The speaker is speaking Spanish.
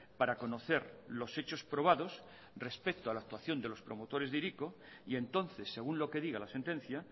para conocer los hechos probados respecto a la actuación de los promotores de hiriko y entonces según lo que diga la sentencia